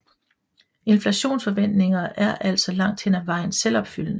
Inflationsforventninger er altså langt hen ad vejen selvopfyldende